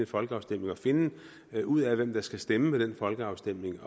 folkeafstemning og finde ud af hvem der skal stemme ved den folkeafstemning